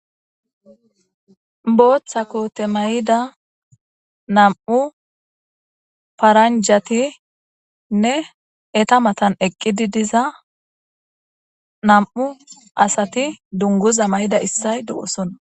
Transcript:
Booththa koote mayida nam7u paranjatinne eta matan eqqidi diza nam7u asati dunguza mayida issay do7osona.